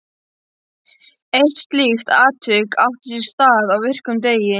Eitt slíkt atvik átti sér stað á virkum degi.